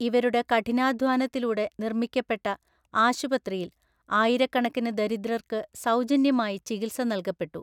ഇവരുടെ കഠിനാധ്വാനത്തിലൂടെ നിര്‍മ്മിക്കപ്പെട്ട ആശുപത്രിയില്‍ ആയിരക്കണക്കിന് ദരിദ്രര്‍ക്ക് സൗജന്യമായി ചികിത്സ നല്കപ്പെട്ടു.